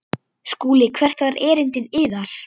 SKÚLI: Hvert var erindi yðar?